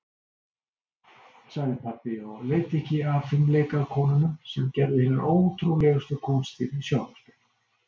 sagði pabbi og leit ekki af fimleikakonunum sem gerðu hinar ótrúlegustu kúnstir í sjónvarpinu.